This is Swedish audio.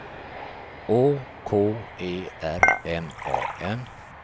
Å K E R M A N